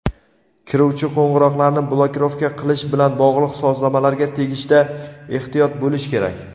Kiruvchi qo‘ng‘iroqlarni blokirovka qilish bilan bog‘liq sozlamalarga tegishda ehtiyot bo‘lish kerak.